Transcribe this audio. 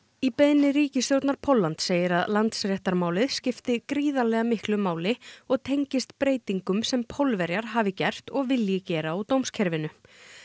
í beiðni ríkisstjórnar Póllands segir að Landsréttarmálið skipti gríðarlega miklu máli og tengist breytingum sem Pólverjar hafi gert og vilji gera á dómskerfinu